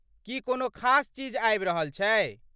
की कोनो खास चीज आबि रहल छै?